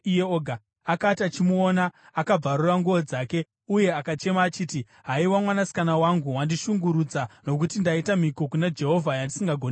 Akati achimuona akabvarura nguo dzake uye akachema achiti, “Haiwa mwanasikana wangu! Wandishungurudza nokuti ndaita mhiko kuna Jehovha yandisingagoni kuputsa.”